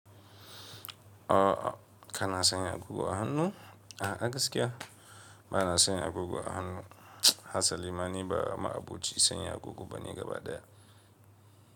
O a ka na sanya agogo a hannu? A'a gaskiya, ba na sanya agogo a hannu. Hasa limani ba ma aboci sanya agogo bane gaba daya.